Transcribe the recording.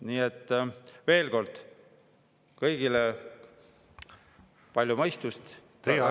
Nii et veel kord kõigile palju mõistust!